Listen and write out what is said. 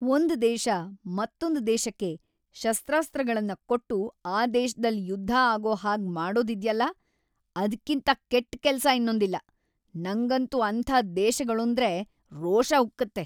ಒಂದ್ ದೇಶ, ಮತ್ತೊಂದ್ ದೇಶಕ್ಕೆ ಶಸ್ತ್ರಾಸ್ತ್ರಗಳ್ನ ಕೊಟ್ಟು ಆ ದೇಶ್ದಲ್ ಯುದ್ಧ ಆಗೋ ಹಾಗ್‌ ಮಾಡೋದಿದ್ಯಲ್ಲ, ಅದ್ಕಿಂತ ಕೆಟ್‌ ಕೆಲ್ಸ ಇನ್ನೊಂದಿಲ್ಲ. ನಂಗಂತೂ ಅಂಥ ದೇಶಗಳೂಂದ್ರೆ ರೋಷ ಉಕ್ಕುತ್ತೆ.